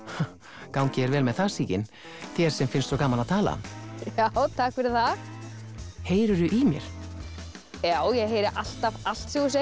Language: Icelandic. gangi þér vel með það Sigyn þér sem finnst svo gaman að tala já takk fyrir það heyrirðu í mér já ég heyri alltaf allt sem þú segir